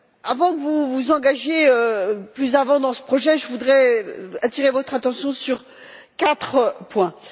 Avant que vous ne vous engagiez plus avant dans ce projet, je voudrais attirer votre attention sur quatre points.